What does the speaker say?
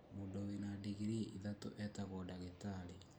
Mũndũ wĩna ndingirii ithatũ etagwo ndagĩtarĩ